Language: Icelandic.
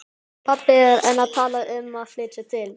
Pabbi er enn að tala um að flytja til